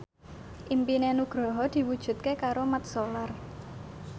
impine Nugroho diwujudke karo Mat Solar